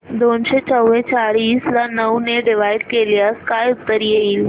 दोनशे चौवेचाळीस ला नऊ ने डिवाईड केल्यास काय उत्तर येईल